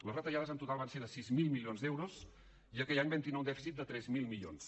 les retallades en total van ser de sis mil milions d’euros i aquell any vam tindre un dèficit de tres mil milions